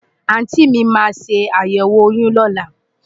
Àùntí mi máa ṣe àyẹ̀wò oyún lọ́la.